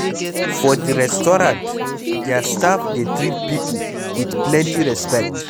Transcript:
For di restaurant their staff dey treat pipo with plenty respect